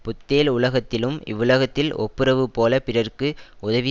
புத்தேள் உலகத்திலும் இவ்வுலகத்தில் ஒப்புரவு போல பிறர்க்கு உதவி